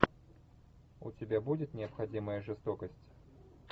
у тебя будет необходимая жестокость